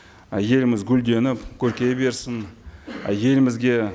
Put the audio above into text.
ы еліміз гүлденіп көркейе берсін ы елімізге